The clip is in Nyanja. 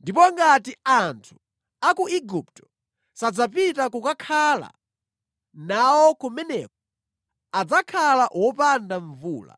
Ndipo ngati anthu a ku Igupto sadzapita ndi kukakhala nawo kumeneko, adzakhala wopanda mvula.